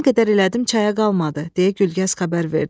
Nə qədər elədim çaya qalmadı, deyə Gülgəz xəbər verdi.